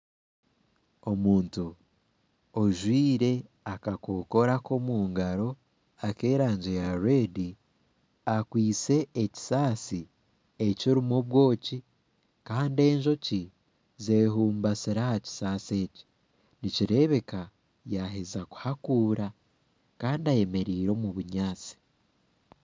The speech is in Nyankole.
Omuntu ojwaire akakokoro komungaro ak'erangi ya reedi akwaitse ekisaasi ekirimu obwoki Kandi enjoki zehumbasire. ahakisaasi eki nikireebeka yaheeza kuhakuura Kandi ayemereire omu bunyatsi